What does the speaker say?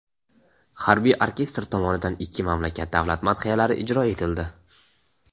Harbiy orkestr tomonidan ikki mamlakat davlat madhiyalari ijro etildi.